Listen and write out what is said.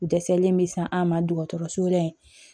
Dɛsɛlen bɛ san an ma dɔgɔtɔrɔso la yen